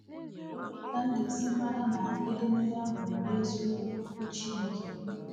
Olee ka m ga-esi mara ma edemede ahụ bụ n’eziokwu Okwu Chineke?